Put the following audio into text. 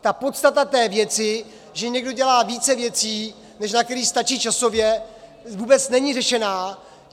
Ta podstata této věci, že někdo dělá více věcí, než na které stačí časově, vůbec není řešena.